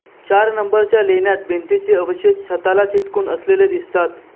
चार नंबरच्या लेण्यात भिंतीचे अवशेष छताला चिटकून असलेले दिसतात